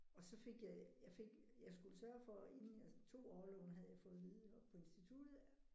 Og så fik jeg jeg fik jeg skulle sørge for inden jeg tog orloven havde jeg fået at vide oppe på instituttet